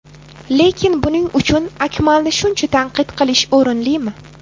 Lekin buning uchun Akmalni shuncha tanqid qilish o‘rinlimi?